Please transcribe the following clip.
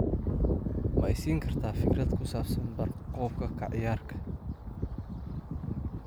ma i siin kartaa fikrad ku saabsan bar qoob ka ciyaarka